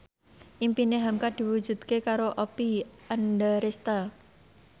impine hamka diwujudke karo Oppie Andaresta